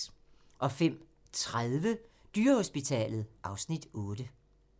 05:30: Dyrehospitalet (Afs. 8)